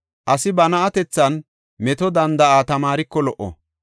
As ba na7atethan meto danda7a tamaariko lo77o.